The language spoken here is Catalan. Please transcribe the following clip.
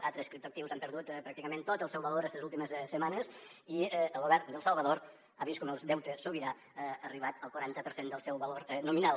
altres criptoactius han perdut pràcticament tot el seu valor estes últimes setmanes i el govern d’el salvador ha vist com el deute sobirà ha arribat al quaranta per cent del seu valor nominal